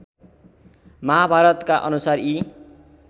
महाभारतका अनुसार यी